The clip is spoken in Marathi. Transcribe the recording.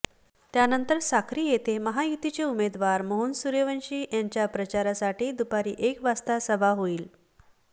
त्यानंतर साक्री येथे महायुतीचे उमेदवार मोहन सुर्यवंशी यांच्या प्रचारासाठी दुपारी एक वाजता सभा होईल